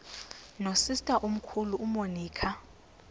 nosister omkhulu umonica